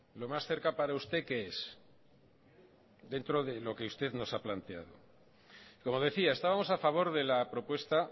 lo más cerca para usted qué es dentro de lo que usted nos ha planteado como decía estábamos a favor de la propuesta